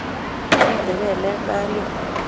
Site gelek Maria